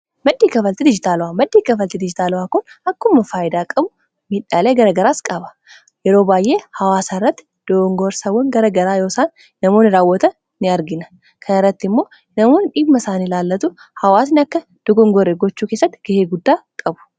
maddii kafalte dijitaala'aa maddii kafalte dijitaala'aa kun akkuma faayidaa qabu miidhaalee garagaraas qaba yeroo baay'ee hawaasa irratti doongorsawwan garagaraa yoosaan namoonn raawwata in argina kanaa irratti immoo namoon dhigma isaanilaallatu hawaasin akka dugongore gochuu keessatti gahee guddaa qabu